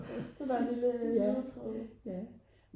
så der er en lille ledetråd